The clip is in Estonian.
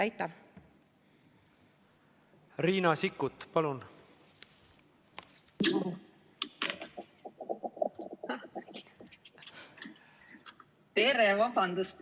Riina Sikkut, palun!